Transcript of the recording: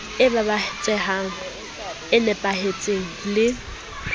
e babatsehang e nepahetseng le